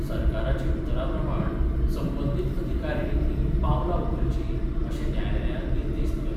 सरकाराचे उतराप्रमाण संबंदीत अधिकारीणींनी पावलां उखलचीं, अशें न्यायालयान निर्देश दिल्यात.